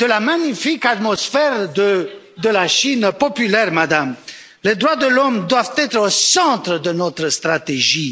la magnifique atmosphère de la Chine populaire, Madame! Les droits de l'homme doivent être au centre de notre stratégie.